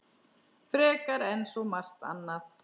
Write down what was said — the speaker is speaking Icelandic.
Frekar en svo margt annað.